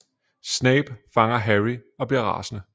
Snape fanger Harry og bliver rasende